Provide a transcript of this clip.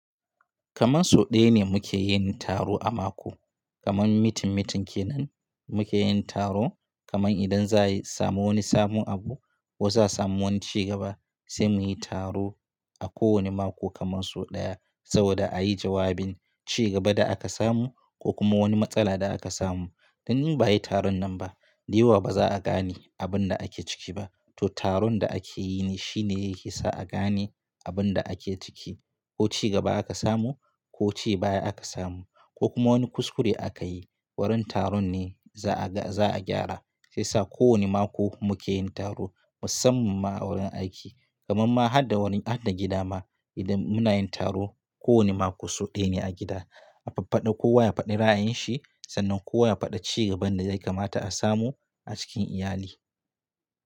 Kaman so ɗaya ne muke yin taro a mako. Kaman mitin-mitin kenan muke yin taro. Kaman idan za a yi samu wani sabon abu, ko za'a samu wani ci gaba sai mu yi taro a kowane mako kaman so ɗaya, saboda a yi jawabin ci gaban da aka samu ko kuma wani matsala da aka samu. Indai ba'a yi taron nan ba, diyewa ba za'a gane abun da ake ciki ba. To taron da ake yi ne shine yake sa a gane abin da ake ciki, ko ci gaba aka samu, ko ci baya aka samu, ko kuma wani kuskure aka yi, wurin taron ne za'a ga za'a gyara. Shiyasa kowani mako muke yin taro musamman ma a wurin aiki, kaman ma har da wurin har da gida ma, idan muna yin taro kowane mako so ɗaya ne a gida. A faffaɗa kowa ya faɗi ra'ayin shi, sannan kowa ya faɗi ci gaban da zai kamata a samo, a cikin iyali.